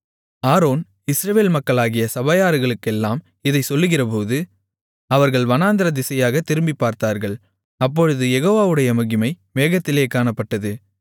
Aaron Israel மக்களாகிய சபையார்களுக்கெல்லாம் இதைச் சொல்லுகிறபோது அவர்கள் வனாந்திரதிசையாகத் திரும்பிப்பார்த்தார்கள் அப்பொழுது யெகோவாவுடைய மகிமை மேகத்திலே காணப்பட்டது